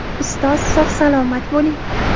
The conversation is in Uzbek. Ustoz, sog‘-salomat bo‘ling!